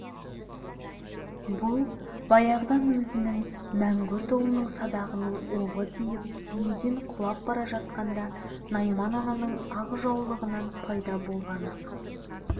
бұл баяғыда өзінің мәңгүрт ұлының садағының оғы тиіп түйеден құлап бара жатқанда найман-ананың ақ жаулығынан пайда болған ақ